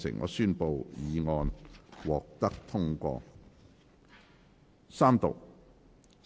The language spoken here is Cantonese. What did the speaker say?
我宣布議案獲得通過。